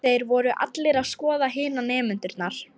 Þeir voru allir að skoða hina nemendurna.